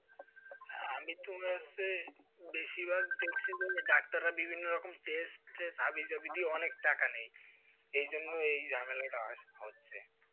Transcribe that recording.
হ্যাঁ, আমি তোমার সেই বেশিরভাগ ছিল doctor রা বিভিন্ন রকম test হাবি জাবি দিয়ে অনেক টাকা নেই। এই জন্য এই ঝামেলাটা হচ্ছে।